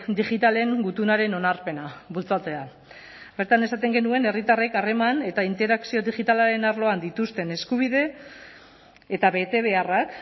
digitalen gutunaren onarpena bultzatzea bertan esaten genuen herritarrek harreman eta interakzio digitalaren arloan dituzten eskubide eta betebeharrak